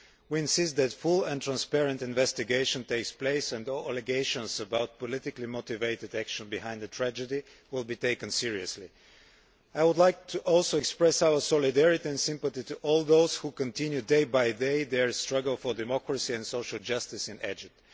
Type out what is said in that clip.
We insist that a full and transparent investigation take place and all allegations of politically motivated action behind the tragedy be taken seriously. I would also like to express our solidarity and sympathy to all those who continue day by day their struggle for democracy and social justice in Egypt.